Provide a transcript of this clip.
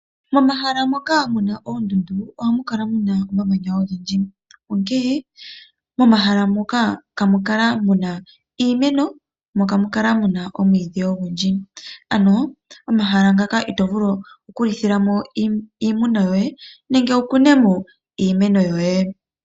Momahala moka mu na oondundu ohamu kala mu na omamanya ogendji. Momahala moka ihamu kala mu na iimeno mo ihamu kala mu na omwiidhi ogundji. Momahala muka ito vulu okulitha mo iimuna yoye nenge wu kune mo iimeno yoye.